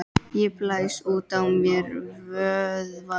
Ég blæs út á mér vöðvana.